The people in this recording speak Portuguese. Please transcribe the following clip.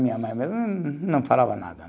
Minha mãe mesmo não falava nada.